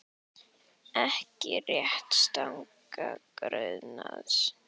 Ekki réttarstaða grunaðs